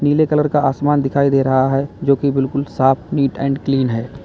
नीले कलर का आसमान दिखाई दे रहा है जोकि बिल्कुल साफ नीट एंड क्लीन है।